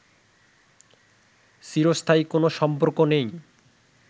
চিরস্থায়ী কোনো সম্পর্ক নেই